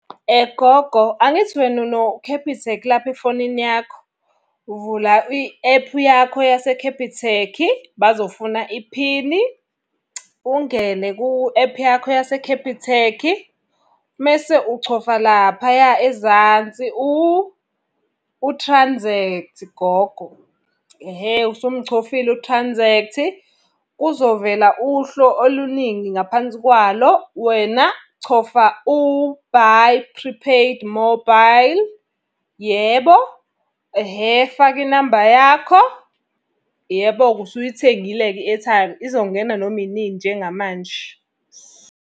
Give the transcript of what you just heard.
Gogo angithi wena uno-Capitec lapho efonini yakho? Uvula i-ephu yakho yaseKhephithekhi, bazofuna iphini. Ungene ku-ephu yakho yaseKhephithekhi. Mese uchofa laphaya ezansi uthranzekthi gogo. Ehhe usumchofile uthranzekthi, kuzovela uhlo oluningi ngaphansi kwalo, wena chofa u-buy prepaid mobile, yebo. Ehhe faka inamba yakho. Yebo-ke usuyithengile-ke i-airtime, izongena noma inini njengamanje.